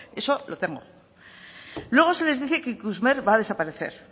eso lo tengo luego se desdice que ikusmer va a desaparecer